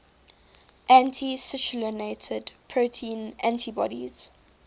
anti citrullinated protein antibodies